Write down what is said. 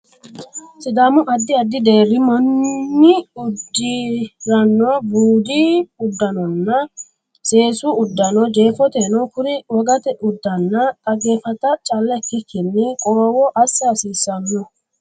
Sidaamu addi addi deerri manni uddi ranno budu uddannanna seesu uduunne Jeefoteno kuri wogate uddanna dhaggeeffata calla ikkikkinni qorowo assa hasiissanno.